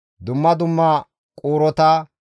Dumma dumma quurota